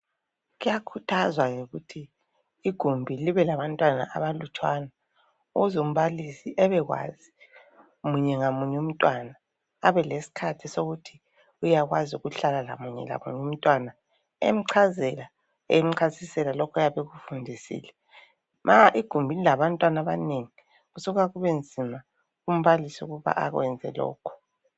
Kuyakhuthazwa lokuthi igumbi libe labantwana abalutshwana ukuz' umbalisi ebekwazi munye ngamuny' umntwana, abeleskhathi sokuthi uywakwazi ukuhlala lamunye lamuny' umntwana emchazela, emchasisela lokho ayabe ekufundisile. Ma igumbi lilabantwan' abanengi kusuka kubenzima kumbalisi ukuba akwenze lokho.